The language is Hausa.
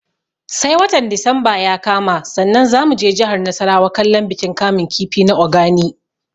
Sai watan disamba ya kama sannan za mu je jihar nasarawa kallon bikin kamun kifi na Ogani